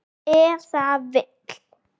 Ef það vill.